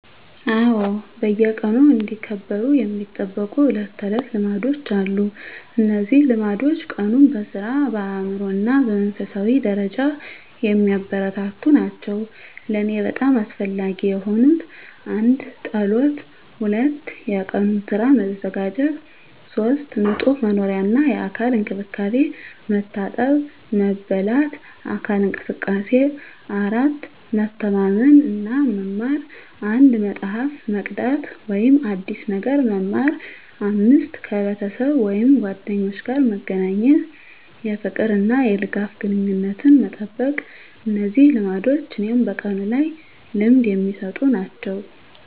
አዎ፣ በየቀኑ እንዲከበሩ የሚጠበቁ የዕለት ተዕለት ልማዶች አሉ። እነዚህ ልማዶች ቀኑን በሥራ፣ በአእምሮ እና በመንፈሳዊ ደረጃ የሚያበረታቱ ናቸው። ለእኔ በጣም አስፈላጊ የሆኑት: 1. ጸሎት 2. የቀኑን ሥራ መዘጋጀት 3. ንጹህ መኖሪያ እና የአካል እንክብካቤ፣ መታጠብ፣ መበላት፣ አካል እንቅስቃሴ። 4. መተማመን እና መማር፣ አንድ መጽሐፍ መቅዳት ወይም አዲስ ነገር መማር። 5. ከቤተሰብ ወይም ጓደኞች ጋር መገናኘት፣ የፍቅር እና የድጋፍ ግንኙነትን መጠበቅ። እነዚህ ልማዶች እኔን በቀኑ ላይ ልምድ የሚሰጡ ናቸው።